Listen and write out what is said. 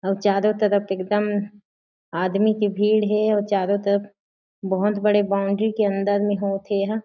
अउ चारो तरफ एकदम आदमी के भीड़ हे अउ चारो तरफ बहोत बड़े बॉउंड्री के अंदर में होत हे एहा--